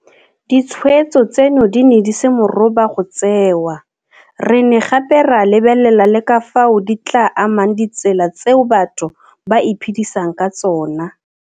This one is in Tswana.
Ditshweetso tseno di ne di se moroba go tseewa, re ne gape ra lebelela le ka fao di tla amang ditsela tseo batho ba iphedisang ka tsona.